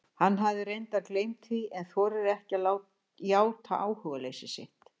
Hann hafði reyndar gleymt því en þorir ekki að játa áhugaleysi sitt.